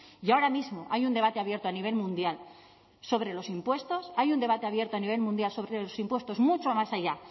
y ahora mismo hay un debate abierto a nivel mundial sobre los impuestos hay un debate abierto a nivel mundial sobre los impuestos mucho más allá